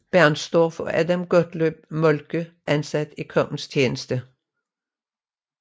Bernstorff og Adam Gottlob Moltke ansat i kongens tjeneste